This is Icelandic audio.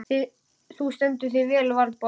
Þú stendur þig vel, Valborg!